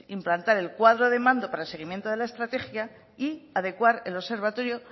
implantar el cuadro de mando para el seguimiento de la estrategia y adecuar el observatorio